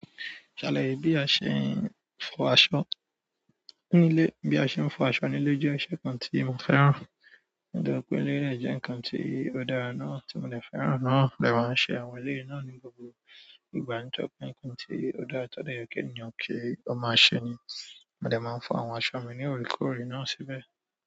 Ṣàlàyé bí a ṣe ń fọ aṣọ nílé. Bí a ṣe ń fọ aṣọ nílé jẹ́ iṣẹ́ kan tí mo fẹ́ràn. Ó dẹ̀ jẹ pé eléyi dẹ̀ jẹ́ ǹkan tí ó dára náà tí mo lè fẹ́ràn náà lẹ́ba ń ṣe àwọn ilé náà ní gbogbo ìgbà tó pé ǹkan tí ó dára tó dayà kí ènìyàn kí ó máa ṣe ni. Mo dẹ̀ máa ń fọ àwọn aṣọ mi ní orekore náà síbẹ̀.